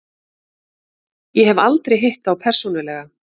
Ég hef aldrei hitt þá persónulega.